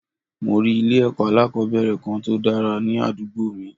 Mo rí ilé èkó alákòóbèrè Kan tòdára ní àdúgbò mi